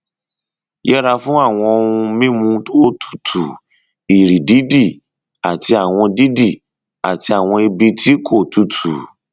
yẹra fún àwọn ohun mímu tó tutù ìrì dídì àti àwọn dídì àti àwọn ibi tí kò tutù